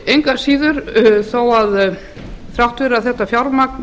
engu að síður þrátt fyrir að þetta fjármagn